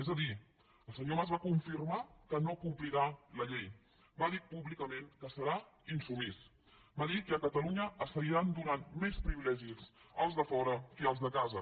és a dir el senyor mas va confirmar que no complirà la llei va dir públicament que serà insubmís va dir que a catalunya es seguiran donant més privilegis als de fora que als de casa